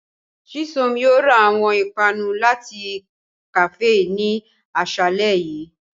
Chisom yóò ra awọn ipanu lati kafee ni aṣalẹ yii.